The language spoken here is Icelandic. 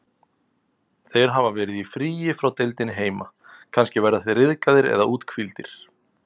Þeir hafa verið í fríi frá deildinni heima, kannski verða þeir ryðgaðir eða úthvíldir.